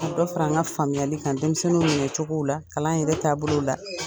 Ka dɔ fara an ka faamuyali kan denmisɛnninw minɛ cogo la , kalan yɛrɛ taabolo la.